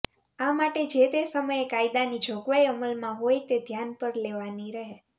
આ માટે જે તે સમયે કાયદાની જોગવાઈ અમલમાં હોય તે ધ્યાન પર લેવાની રહે